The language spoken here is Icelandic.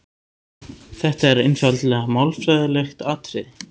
Þetta er einfaldlega málfræðilegt atriði.